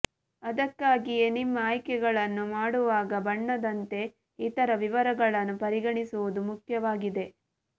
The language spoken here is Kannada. ಅದಕ್ಕಾಗಿಯೇ ನಿಮ್ಮ ಆಯ್ಕೆಗಳನ್ನು ಮಾಡುವಾಗ ಬಣ್ಣದಂತೆ ಇತರ ವಿವರಗಳನ್ನು ಪರಿಗಣಿಸುವುದು ಮುಖ್ಯವಾಗಿದೆ